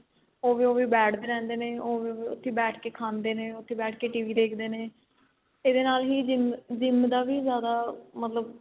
ਉਵੇਂ ਉਵੇਂ ਬੈਠਦੇ ਰਹਿੰਦੇ ਨੇ ਉੱਥੇ ਬੈਠ ਕੇ ਖਾਂਦੇ ਨੇ ਉੱਥੇ ਬੈਠ ਕੇ TV ਦੇਖਦੇ ਨੇ ਇਹਦੇ ਨਾਲ ਹੀ GYM GYM ਦਾ ਵੀ ਜਿਆਦਾ ਮਤਲਬ